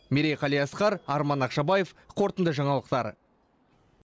мерей қалиасқар арман ақшабаев қорытынды жаңалықтар